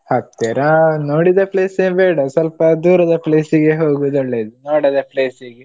ಹತ್ತಿರ ನೋಡಿದ place ಎ ಬೇಡ ಸ್ವಲ್ಪ ದೂರದ place ಇಗೆ ಹೋಗೋದು ಒಳ್ಳೇದು, ನೋಡದ place ಇಗೆ.